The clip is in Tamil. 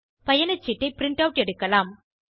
பயணச்சீட்டை பிரின்ட் ஆட் எடுக்கலாம்